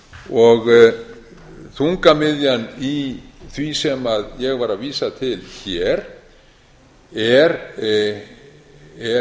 og þungamiðjan í því sem ég var að vísa til hér er